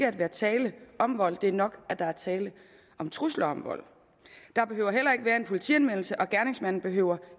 at være tale om vold det er nok at der er tale om trusler om vold der behøver heller ikke være en politianmeldelse og gerningsmanden behøver